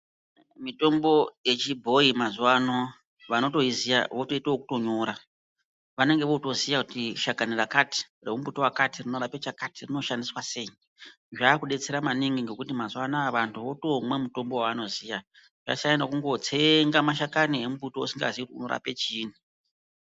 Mitombo yechibhoyi mazuwano vanotoiziva votoite kutonyora. Vanenge votoziya kuti shakani rakati rembuti wakati rinorape chakati, rinoshandiswa seyi. Zvakudetsera maningi ngekuti mazuwa anaya vanhu votomwa mutombo wevanoziya. Zvasiyana nekungotsenga mashakani emunbuti wausingaziyi kuti unorape chiini.